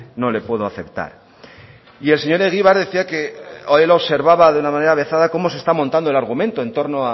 no le puedo aceptar y el señor egibar decía que él observaba de una manera avezada como se está montando el argumento en torno